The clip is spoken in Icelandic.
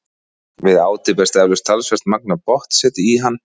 Við átið berst eflaust talsvert magn af botnseti í hann.